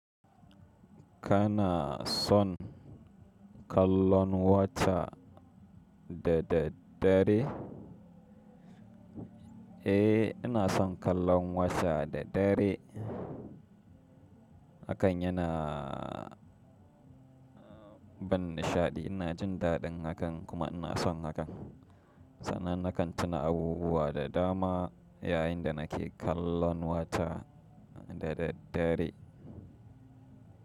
Kana son kallon wata da daddadare? Eh, ina son kallon wata da dare. Hakan yana ban nishaɗi. Ina jin daɗin hakan kuma ina son hakan. Sanan na kan tuna abubuwa da dama yayin da nake kallon wata da dare.